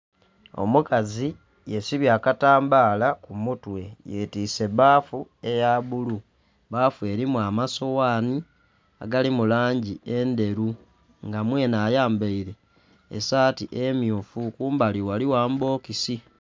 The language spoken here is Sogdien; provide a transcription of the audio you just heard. Omukazi yesibye akatambaala ku mutwe. Yetiise bbafu eya bulu. Bbafu elimu amasoghani agali mu langi endheru. Nga mwenhe ayambaile esaati emyufu. Kumbali waliwo amabokisi.